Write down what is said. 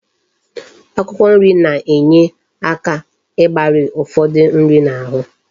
Akwụkwọ nri na enye aka igbari ufodu nri na ahu